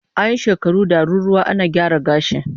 An yi shekaru daruruwa ana gyara gashi